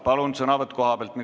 Palun, sõnavõtt kohalt!